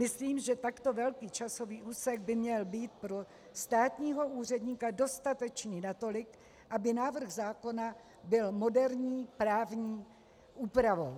Myslím, že takto velký časový úsek by měl být pro státního úředníka dostatečný natolik, aby návrh zákona byl moderní právní úpravou.